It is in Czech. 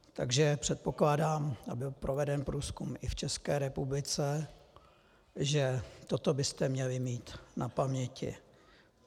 Takže předpokládám, a byl proveden průzkum i v České republice, že toto byste měli mít na paměti.